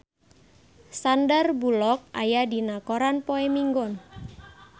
Sandar Bullock aya dina koran poe Minggon